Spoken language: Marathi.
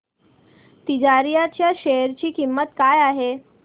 तिजारिया च्या शेअर ची किंमत काय आहे